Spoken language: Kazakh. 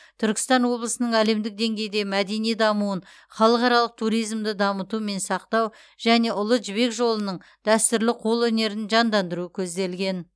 түркістан облысының әлемдік деңгейде мәдени дамуын халықаралық туризмді дамыту мен сақтау және ұлы жібек жолының дәстүрлі қолөнерін жандандыру көзделген